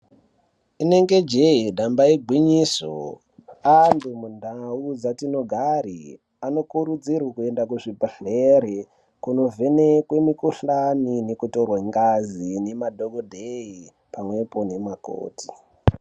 Inenge jee damba igwinyiso antu mundau dzatinogare anokurudzirwe kuenda kuzvibhadhlere kunovhenekwe mikuhlani nekutorwa ngazi ngemadhokodheye pamwepo nemakoti.